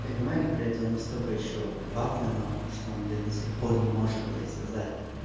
понимаешь блять он настолько ещё вафли нахуй что он блять до сих пор не может блять сказать